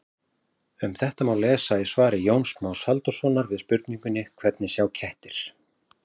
Um þetta má lesa í svari Jóns Más Halldórssonar við spurningunni Hvernig sjá kettir?